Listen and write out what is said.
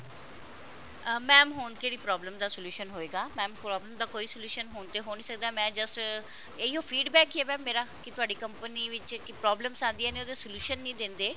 mam ਹੁਣ ਕਿਹੜੀ problem ਦਾ solution ਹੋਏਗਾ mam problem ਦਾ ਕੋਈ solution ਹੁਣ ਤੇ ਹੋ ਨਹੀਂ ਸਕਦਾ ਮੈਂ just ਇਹੀਓ feedback ਹੀ ਹੈ mam ਮੇਰਾ ਕਿ ਤੁਹਾਡੀ company ਵਿੱਚ problems ਆਂਦੀਆਂ ਨੇ ਉਹਦਾ solution ਨਹੀਂ ਦਿੰਦੇ